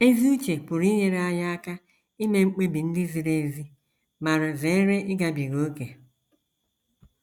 Ezi uche pụrụ inyere anyị aka ime mkpebi ndị ziri ezi ma zere ịgabiga ókè.